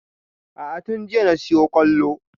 A'a tun jiya na siyo ƙwallo